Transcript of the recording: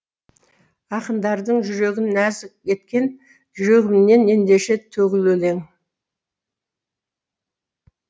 ақындардың жүрегін нәзік еткен жүрегімнен ендеше төгіл өлең